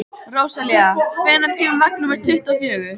Rósalía, hvenær kemur vagn númer tuttugu og fjögur?